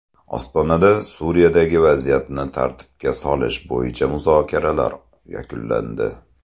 Ostonada Suriyadagi vaziyatni tartibga solish bo‘yicha muzokaralar yakunlandi.